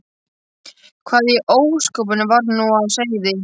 Hvað í ósköpunum var nú á seyði?